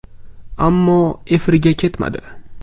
Ammo efirga ketmadi.